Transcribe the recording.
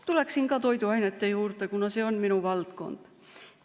Tulen toiduainete juurde, kuna see on minu valdkond.